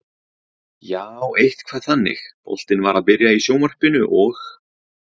Jaa, eitthvað þannig, boltinn var að byrja í sjónvarpinu og.